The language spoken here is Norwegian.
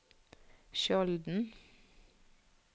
Skjolden